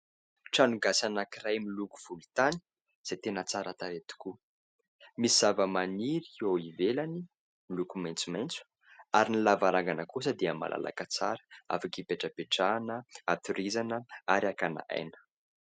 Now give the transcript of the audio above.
Trano gasy anankiray miloko volontany izay tena tsara tarehy tokoa, misy zavamaniry eo ivelany miloko maitsomaitso ary ny lavarangana kosa dia malalaka tsara afaka ipetrapetrahana, hatorizana ary hakana aina.